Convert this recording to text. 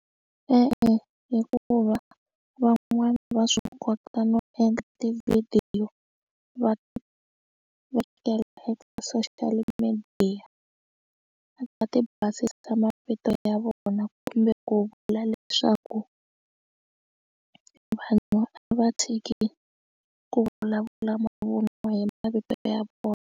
E-e, hikuva van'wana va swi kota no endla tivhidiyo va vekela eka social media a ti basisa mavito ya vona kumbe ku vula leswaku vanhu a va tshiki ku vulavula mavun'wa hi mavito ya vona.